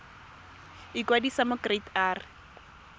ikwadisa mo go kereite r